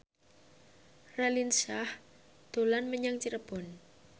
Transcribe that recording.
Raline Shah dolan menyang Cirebon